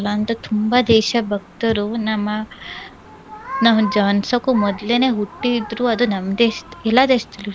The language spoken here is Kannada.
ಅಂತಾದ್ ತುಂಬಾ ದೇಶ ಭಕ್ತರು ನಮ್ಮ ನಾವ್ ಜನ್ಸಕ್ಕೂ ಮೊದಲೇನೆ ಹುಟ್ಟಿದ್ರೂ ಅದು ನಮ್ ದೇಶದ್ ಎಲ್ಲಾ ದೇಶದಲ್ಲೂ ಇರ್ತಾರೆ.